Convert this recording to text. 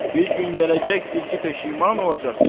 Bir gün gələcəkdir ki, peşiman olacaqsan.